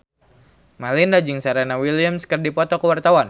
Melinda jeung Serena Williams keur dipoto ku wartawan